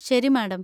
ശരി, മാഡം.